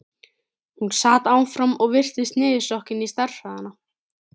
Hún sat áfram og virtist niðursokkin í stærðfræðina.